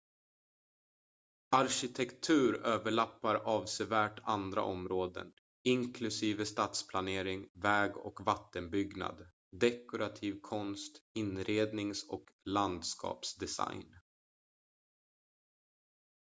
arkitektur överlappar avsevärt andra områden inklusive stadsplanering väg- och vattenbyggnad dekorativ konst inrednings- och landskapsdesign